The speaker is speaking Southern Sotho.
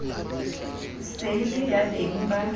se e le yabeng ba